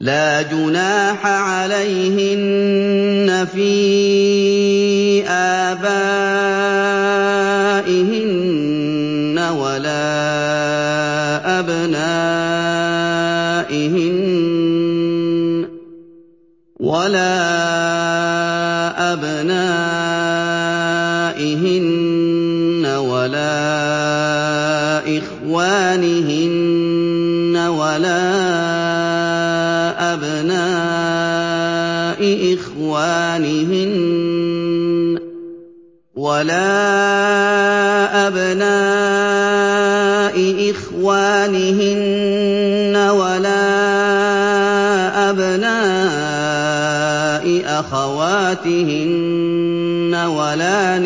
لَّا جُنَاحَ عَلَيْهِنَّ فِي آبَائِهِنَّ وَلَا أَبْنَائِهِنَّ وَلَا إِخْوَانِهِنَّ وَلَا أَبْنَاءِ إِخْوَانِهِنَّ وَلَا أَبْنَاءِ أَخَوَاتِهِنَّ وَلَا